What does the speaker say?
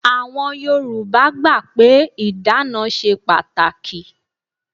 Àwọn Yorùbá gbà pé ìdána ṣe pàtàkì.